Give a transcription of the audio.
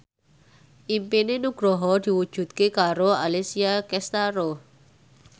impine Nugroho diwujudke karo Alessia Cestaro